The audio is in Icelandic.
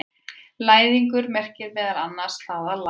Læðingur merkir meðal annars það að læðast.